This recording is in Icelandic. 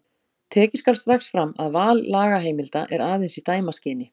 Tekið skal strax fram að val lagaheimilda er aðeins í dæmaskyni.